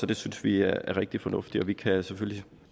det synes vi er rigtig fornuftigt og vi kan selvfølgelig